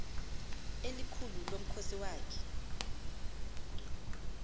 elikhulu lomkhosi wakhe